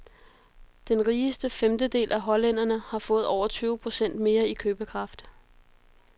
Den rigeste femtedel af hollænderne har fået over tyve procent mere i købekraft.